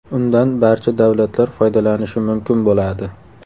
Undan barcha davlatlar foydalanishi mumkin bo‘ladi.